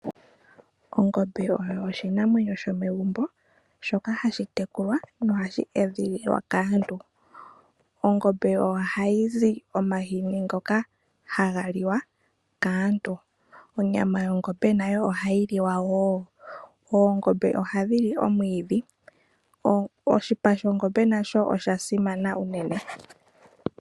Ongombe oyo oshinamwenyo shomegumbo, shoka hashi tekulwa nohashi edhililwa kaantu. Ongombe ohayi zi omahini ngoka haga liwa kaantu, onyama yongombe nayo ohayi liwa woo. Oongombe ohadhi li omwiidhi, oshipa shongombe nasho osha simana unene.